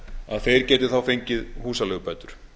að þeir geti þá fengið húsaleigubætur